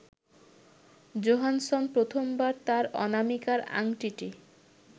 Johansson প্রথমবার তার অনামিকার আংটিটি